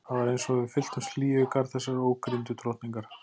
Það var eins og við fylltumst hlýju í garð þessarar ókrýndu drottningar.